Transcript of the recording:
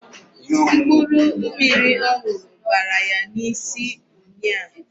Mkpụrụ mmiri ọ ṅụrụ bara ya n'isi ụnyịa.